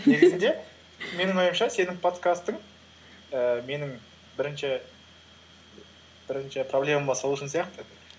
негізінде менің ойымша сенің подкастың ііі менің бірінші проблема сол үшін сияқты